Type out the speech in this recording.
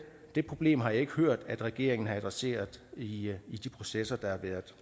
det problem har jeg ikke hørt at regeringen har adresseret i i de processer der har været